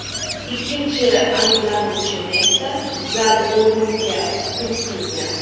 Ikkinchi ayblanuvchini esa zal o‘limga hukm qilgan.